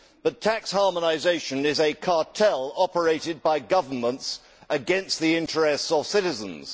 But tax harmonisation is a cartel operated by governments against the interests of citizens.